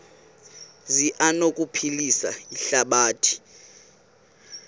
zi anokuphilisa ihlabathi